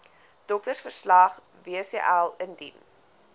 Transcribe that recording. doktersverslag wcl indien